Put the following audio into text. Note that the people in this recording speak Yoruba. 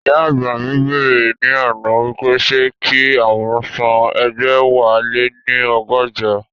Ìyá àgbà mi bẹ̀rẹ̀ ní àná wípé ṣé kí àwọn san ẹgbẹ̀wáléní ọgọ́jọ?